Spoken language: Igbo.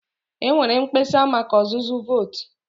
E nweere mkpesa maka ọzụzụ vootu.